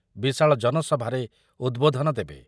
ବିଶାଳ ଜନସଭାରେ ଉଦ୍‌ବୋଧନ ଦେବେ ।